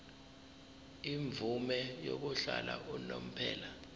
imvume yokuhlala unomphela